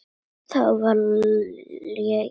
Það var léleg lygi.